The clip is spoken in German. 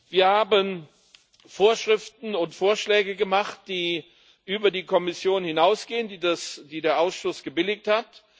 Wir haben Vorschriften und Vorschläge gemacht, die über die der Kommission hinausgehen, die der Ausschuss gebilligt hat.